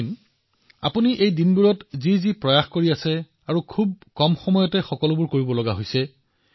captain এইকেইটা দিনত আপুনি যি প্ৰয়াস কৰিছে সেয়া অতিশয় কম সময়ত কৰিবলগীয়া হৈছে